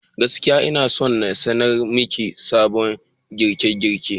Gaskiya, ina son na sanar maki sabon girke-girke.